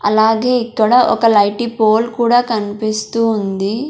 అలాగే ఇక్కడ ఒక లైటీ పోల్ కూడా కనిపిస్తూ ఉంది.